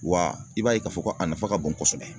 Wa i b'a ye k'a fɔ ko a nafa ka bon kosɛbɛ